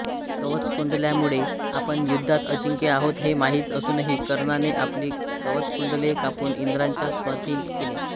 कवचकुंडलांमुळे आपण युद्धात अजिंक्य आहोत हे माहीत असूनही कर्णाने आपली कवचकुंडले कापून इंद्राच्या स्वाधीन केली